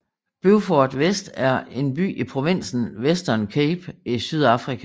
Beaufort West er en by i provinsen Western Cape i Sydafrika